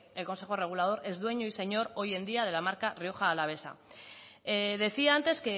el consejo regulador es dueño y señor hoy en día de la marca rioja alavesa decía antes